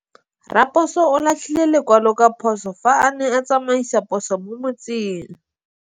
Raposo o latlhie lekwalô ka phosô fa a ne a tsamaisa poso mo motseng.